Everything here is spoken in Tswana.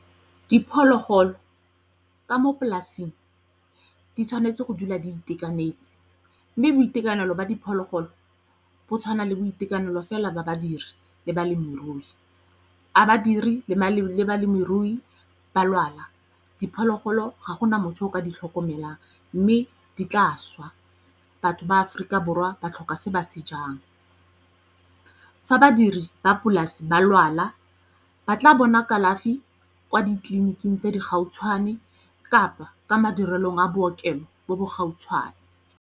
Diphologolo ka mo polasing di tshwanetse go dula di itekanetse mme boitekanelo ba diphologolo go tshwana le boitekanelo fela ba badiri le balemirui. A badiri le maemo le balemirui ba lwala, diphologolo ga gona motho o ka di tlhokomelang mme di tla swa, batho ba Aforika Borwa ba tlhoka se ba se jang. Fa badiri ba polasi ba lwala ba tla bona kalafi kwa ditleliniking tse di gautshwane kapa ka madirelong a bookelo bo bo gautshwane.